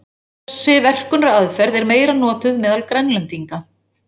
Þessi verkunaraðferð er meira notuð meðal Grænlendinga.